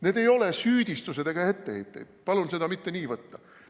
Need ei ole süüdistused ega etteheited, palun seda mitte nii võtta.